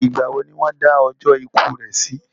Ìgbà wo ni wọ́n dá ọjọ́ ikú rẹ̀ sí?